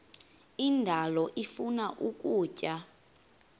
indalo ifuna ukutya